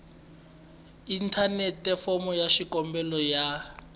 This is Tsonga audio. inthanete fomo ya xikombelo ya